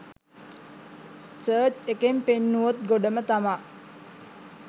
search එකෙන් පෙන්නුවෝත් ගොඩම තමා